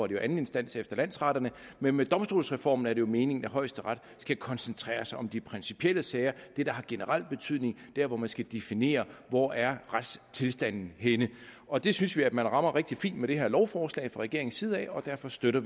jo anden instans efter landsretterne men med domstolsreformen er det meningen at højesteret skal koncentrere sig om de principielle sager det der har generelt betydning der hvor man skal definere hvor er retstilstanden henne og det synes vi at man rammer rigtig fint med det her lovforslag fra regeringens side og derfor støtter